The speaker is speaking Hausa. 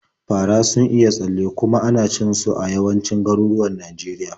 Fara sun iya tsalle, kuma ana cin su a yawancin garuruwan Najeriya.